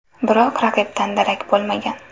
Biroq raqibdan darak bo‘lmagan.